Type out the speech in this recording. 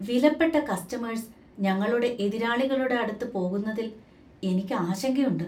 വിലപ്പെട്ട കസ്റ്റമേഴ്സ് ഞങ്ങളുടെ എതിരാളികളുടെ അടുത്ത് പോകുന്നതിൽ എനിക്ക് ആശങ്കയുണ്ട്.